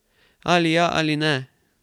Ali ja ali ne.